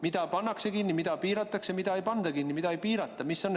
Mida pannakse kinni, mida piiratakse, mida ei panda kinni, mida ei piirata?